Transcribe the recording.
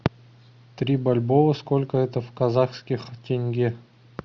три бальбоа сколько это в казахских тенге